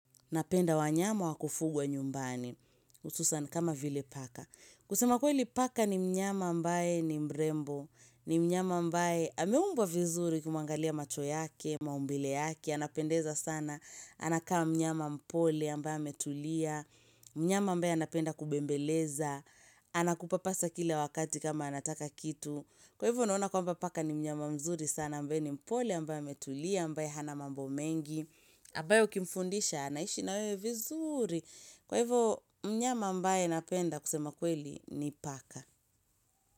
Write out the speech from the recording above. Napenda wanyama wa kufugwa nyumbani hususan kama vile paka. Kusema kweli paka ni mnyama ambaye ni mrembo ni mnyama ambaye ameumbwa vizuri ukimuangalia machobyake, maumbile yake, anapendeza sana anakaa mnyama mpole ambaye ametulia mnyama ambaye anapenda kubembeleza anakupapasa kila wakati kama anataka kitu kwa hivyo naona kwamba paka ni mnyama mzuri sana ambaye ni mpole ambaye ametulia ambaye hana mambo mengi ambaye ukimfundisha anaishi na wewe vizuri Kwa hivyo mnyama ambae napenda kusema kweli ni paka.